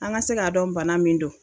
An ka se k'a dɔn bana min do.